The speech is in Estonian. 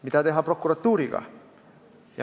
Mida teha prokuratuuriga?